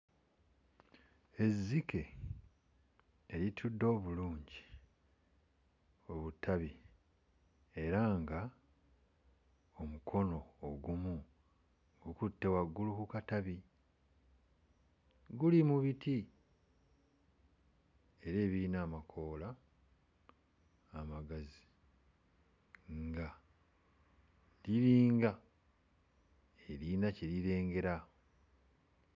Ezzike eritudde obulungi ku butabi era nga omukono ogumu guktte waggulu ku katabi, guli mu biti era ebiyina amakoola amagazi nga liringa eriyina kye lirengera.